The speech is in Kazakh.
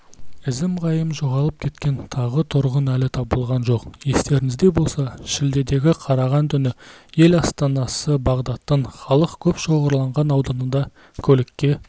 ізім-ғайым жоғалып кеткен тағы тұрғын әлі табылған жоқ естеріңізде болса шілдеге қараған түні ел астанасы бағдаттың халық көп шоғырланған ауданында көлікке